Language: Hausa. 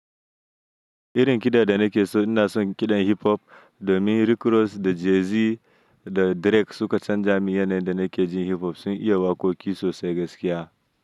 Irin kiɗa da nake so ina son kiɗan hip-hop domin Rick Ross da Jay-Z da Drake suka canja min yanayin da nake jin hip-hop sun yi waƙoƙi sosai gaskiya.